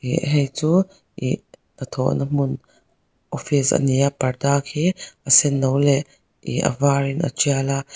ih hei chu ihh hnathawh na hmun office a ni a parda khi a senno leh ihh a var in a tial a --